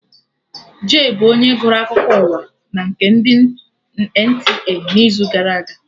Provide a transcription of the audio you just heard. Jay bụ onye gụrụ akụkọ ụwa na nke ndị NTA n'izu gara aga